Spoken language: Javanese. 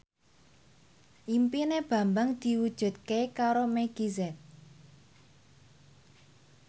impine Bambang diwujudke karo Meggie Z